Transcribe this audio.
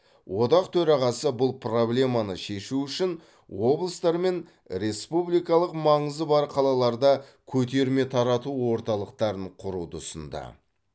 одақ төрағасы бұл проблеманы шешу үшін облыстар мен республикалық маңызы бар қалаларда көтерме тарату орталықтарын құруды ұсынды